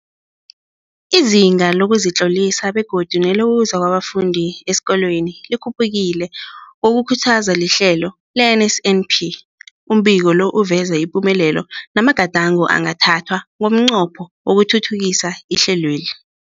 Izinga lokuzitlolisa begodu nelokuza kwabafundi esikolweni likhuphukile ngokukhuthazwa lihlelo le-NSNP. Umbiko lo uveza ipumelelo namagadango angathathwa ngomnqopho wokuthuthukisa ihlelweli.